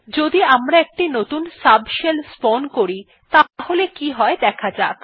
যদি আমরা একটি নতুন সাবশেল স্পাউন করি তাহলে কি হয় দেখা যাক